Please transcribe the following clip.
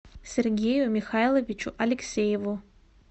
сергею михайловичу алексееву